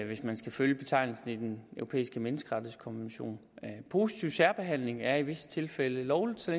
hvis man skal følge betegnelsen i den europæiske menneskerettighedskonvention positiv særbehandling er i visse tilfælde lovlig så